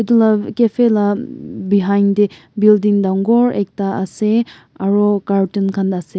etu lah cafe lah behind teh building dangor ekta ase aru cartun khan ase.